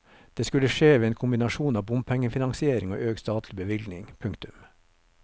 Det skulle skje ved en kombinasjon av bompengefinansiering og økt statlig bevilgning. punktum